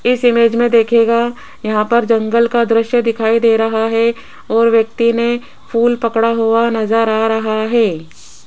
इस इमेज मे देखिएगा यहां पर जंगल का दृश्य दिखाई दे रहा है और व्यक्ति ने फूल पकड़ा हुआ नज़र आ रहा है।